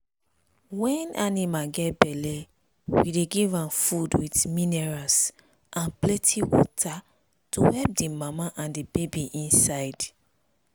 when animal get belle we dey give am food with minerals and plenty water to help the mama and the baby inside.